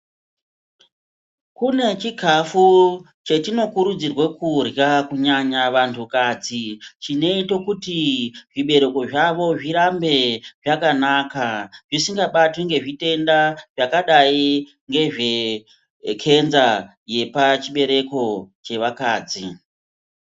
Kune chikafu chetinokurudzirwe kudya kunyanya vantu kadzi chinoite kuti zvibereko zvavo zvirambe zvakanaka zvisingabatwi ngezvitenda zvakadai ngezve khenza yepachibereko chevakadzi.